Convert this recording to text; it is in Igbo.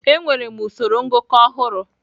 Enwere usoro ngụkọ ọhụrụ.